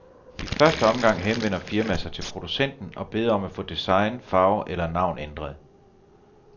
I første omgang henvender firmaet sig til producenten og beder om at få design, farve eller navn ændret.